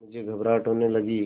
मुझे घबराहट होने लगी